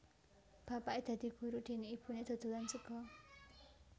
Bapaké dadi guru déné ibuné dodolan sega